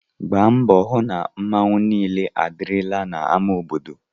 Gbaa mbọ hụ na mmanwu niile adịrịla na ama obodo/